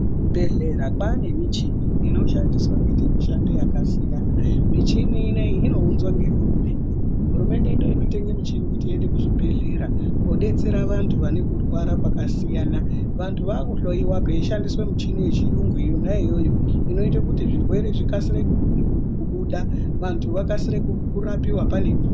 Kuzvibhehleya kwaane michini inoshandiswa kuita mishando yakasiyana michini inoyi inounzwa ngehurumende ,hurumende ndiyo inotenge muchini kuti uyende kuchibhehleya kodetsera vantu vane kurwara kwakasiyana vantu vakuhloyiwa kweichishandise michini yechiyungu yona iyoyo inoite kuti zvirwere zvikasire kubuda vantu vakasire kurapiwa ngemukuwo.